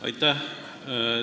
Aitäh!